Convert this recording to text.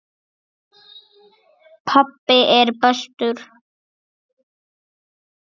Pabbi er bestur.